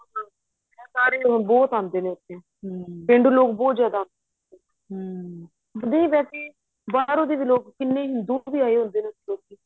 ਏਹ ਸਾਰੇ ਬਹੁਤ ਆਦੇ ਨੇ ਉਥੇ ਪੇਂਡੂ ਲੋਕ ਬਹੁਤ ਜਿਆਦਾ ਦੀ ਵੈਸੇ ਬਾਹਰੋ ਦੀ ਵੀ ਲੋਕ ਕਿੰਨੇ ਹਿੰਦੂ ਵੀ ਆਏ ਹੁੰਦੇ ਨੇ ਉਥੇ